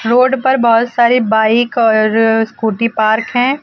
Road पर बहुत सारी बाइक और स्कूटी पार्क है।